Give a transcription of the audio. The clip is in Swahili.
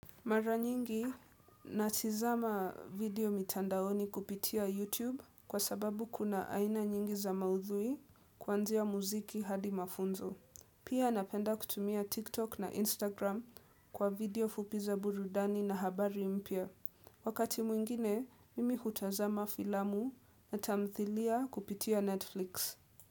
Mara nyingi, natizama video mitandaoni kupitia YouTube kwa sababu kuna aina nyingi za maudhui kuanzia muziki hadi mafunzo. Pia napenda kutumia TikTok na Instagram kwa video fupi za burudani na habari mpya. Wakati mwingine, mimi hutazama filamu na tamthilia kupitia Netflix.